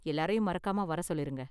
எல்லாரையும் மறக்காம வர சொல்லிருங்க.